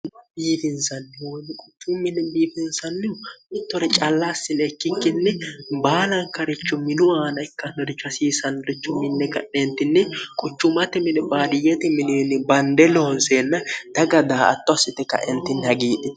biibinsanni huonni quchu minni biibinsannihu mittore callaassile ikkikkinni baalankarichu minu aana ikkannoricho hasiisanrichu minni qadheentinni quchumati mini baaliyeti milioni bande loonseenna daga daa atto assite kaentinni hagiidhi